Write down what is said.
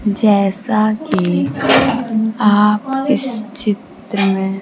जैसा कि आप इस चित्र में--